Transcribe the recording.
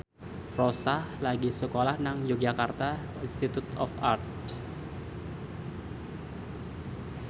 Rossa lagi sekolah nang Yogyakarta Institute of Art